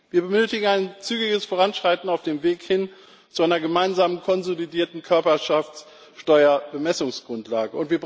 Wir benötigen ein zügiges Voranschreiten auf dem Weg hin zu einer gemeinsamen, konsolidierten Körperschaftssteuerbemessungsgrundlage.